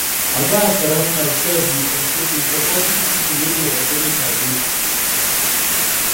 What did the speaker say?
I gats surround myself with supportive pipo wey go encourage my growth.